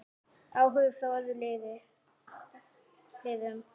Áhugi frá öðrum liðum?